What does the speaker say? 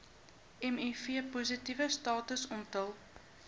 mivpositiewe status onthul